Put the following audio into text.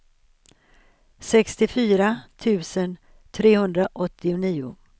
sextiofyra tusen trehundraåttionio